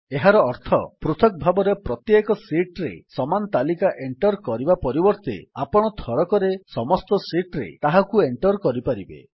ଏହାର ଅର୍ଥ ପୃଥକ୍ ଭାବେ ପ୍ରତ୍ୟେକ ଶୀଟ୍ ରେ ସମାନ ତାଲିକା ଏଣ୍ଟର୍ କରିବା ପରିବର୍ତ୍ତେ ଆପଣ ଥରକରେ ସମସ୍ତ ଶୀଟ୍ ରେ ତାହାକୁ ଏଣ୍ଟର୍ କରିପାରିବେ